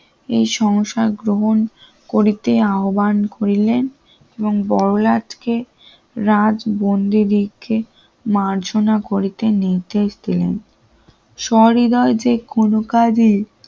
এই সংসার গ্রহণ করিতে আহ্বান করিলে এবং বড়লাটকে রাজবন্দী রেখে মার্জনা করিতে নির্দেশ দিলেন সহৃদয় যে কোন কাজে